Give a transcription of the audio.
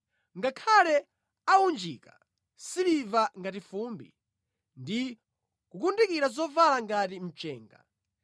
Ngakhale aunjike siliva ngati fumbi, ndi kukundika zovala ngati mchenga,